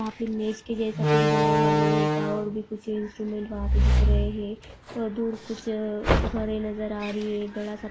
वहा पे मज़े के जैसा कुछ बना हुआ लोहे का और भी कुछ इन्स्ट्रुमेंट वहा पे दिख रहे है और दूर कुछ घरे नजर आ रही है। बड़ासा--